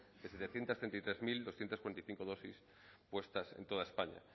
de setecientos treinta y tres mil doscientos cuarenta y cinco dosis puestas en toda españa